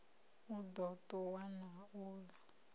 u ḓo ṱuwa na uḽa